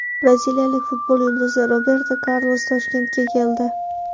Braziliyalik futbol yulduzi Roberto Karlos Toshkentga keldi .